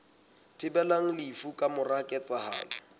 thibelang lefu ka mora ketsahalo